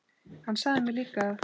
Hann sagði mér líka að